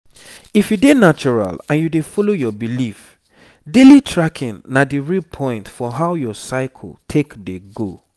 if you dey natural and you dey follow your belief daily tracking na the real point for how your cycle take dey go.